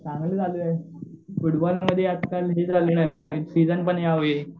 चांगलं चालूये फुटबॉलमध्ये आजकाल सीजन पण यावेळी.